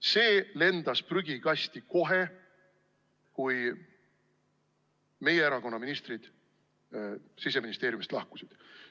See lendas prügikasti kohe, kui meie erakonna ministrid Siseministeeriumist lahkusid.